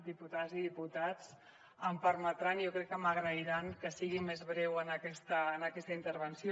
diputades i diputats em permetran i jo crec que m’ho agrairan que sigui més breu en aquesta intervenció